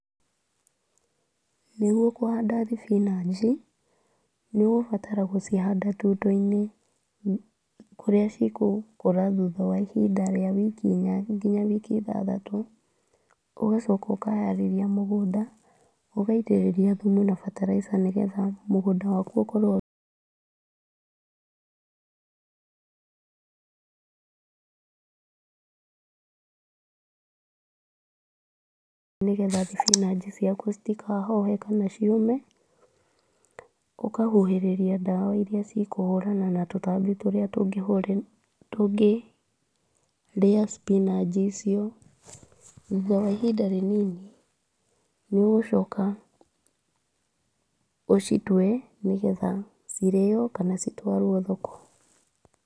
Nĩguo kũhanda thibinanji, nĩ ũgũbatara gũcihanda tuto-inĩ kũrĩa cigũkũra thutha wa ihinda rĩa wiki inya nginya wiki ithathatũ. Ũgacoka ũkaharĩria mũgũnda, ũgatĩrĩria thumu na bataraitha nĩgetha mũgũnda waku ũkorwo nĩgetha thibinanji ciaku citakahohe kana ciũme. Ũkahuhĩrĩria ndawa iria cikũhũrana na tũtambi tũrĩa tũngĩrĩa cibinanji icio. Thutha wa ihinda rĩnini nĩ ũgũcoka ũcitue nĩgetha cirĩo kana citwarwo thoko.